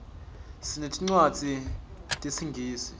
sinetincwadzi tesingisi